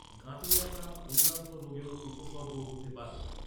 গাঁটে ব্যথা অন্যান্য রোগেরও উপসর্গ হতে পারে।